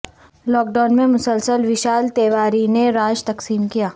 lock down میں مسلسل ویشال تیواری نے راش تقسیم کیا